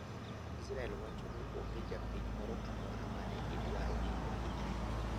Israel wachoni onge japiny moro amora mane idwaro ni ohinyre.